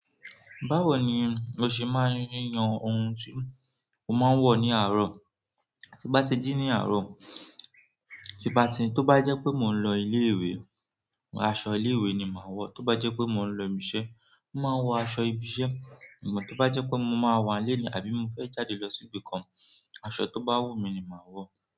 Báwo ni o ṣe máa ń yan ohun tí o máa ń wọ̀ ní àárọ̀, tí n bá ti jí ní àárọ̀, tí n bá ti tó bá jẹ́ pé mò ń lọ ilé ìwé, aṣọ ilé ìwé ni màá wọ̀, tó bá jẹ́ pé mò ń lọ ibi iṣẹ́, mò máa wọ aṣọ ibi iṣẹ́, to ba je pe mo maa wa nile ni, àbí mo fe jáde lo si ibìkan, aṣọ to ba wu mi ni maa wo.